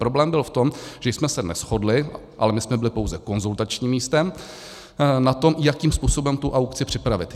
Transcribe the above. Problém byl v tom, že jsme se neshodli - ale my jsme byli pouze konzultačním místem - na tom, jakým způsobem tu aukci připravit.